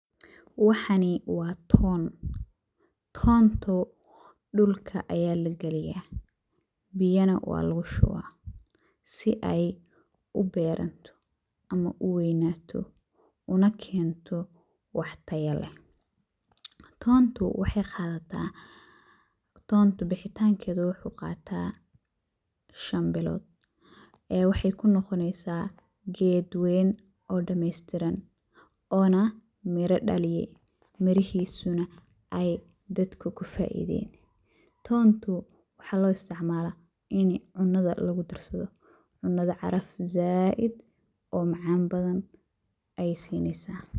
Waxani wa toon, tontu dhulka aya lagaliya biyana walugushuba si ey uberanto ama uweynato unakento wax tayo leeh. Toontu bixitankeda wuxu qataa shan bilod wexey kunoqoneysa ged ween oo damestiran ona miro dhaliye mirahisuna ay dadka kufaiden, toontu waxa loisticmala inii cunada lugudarsado cunada caraf zaid ona macan ayey sineysa.